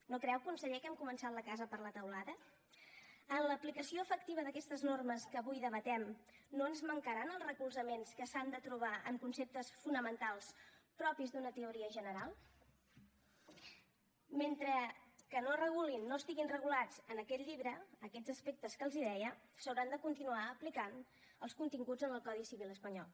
no creu conseller que hem començat la casa per la teulada en l’aplicació efectiva d’aquestes normes que avui debatem no ens mancaran els recolzaments que s’han de trobar en conceptes fonamentals propis d’una teoria general mentre que no es regulin no estiguin regulats en aquest llibre aquests aspectes que els deia s’hauran de continuar aplicant els continguts en el codi civil espanyol